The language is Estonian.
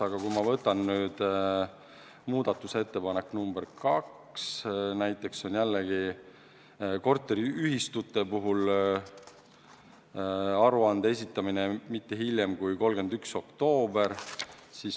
Aga ma võtan nüüd ette muudatusettepaneku nr 2: korteriühistute puhul aruande esitamine hiljemalt 31. oktoobril.